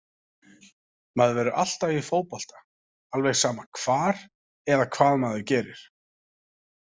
Maður verður alltaf í fótbolta alveg sama hvar eða hvað maður gerir.